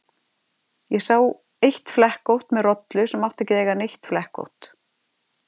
Ég sá eitt flekkótt með rollu sem átti ekki að eiga neitt flekkótt.